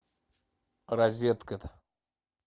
розеткед